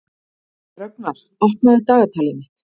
Rögnvar, opnaðu dagatalið mitt.